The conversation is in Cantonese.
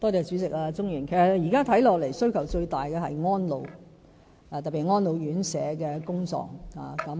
主席、鍾議員，現時看來，其實需求最大的是安老服務，特別是安老院舍的工作。